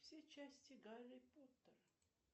все части гарри поттера